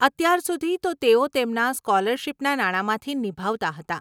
અત્યાર સુધી તો તેઓ તેમના સ્કોલરશિપના નાણામાંથી નિભાવતા હતાં.